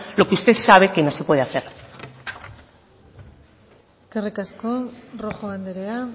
lo que usted sabe que no se puede hacer eskerrik asko rojo andrea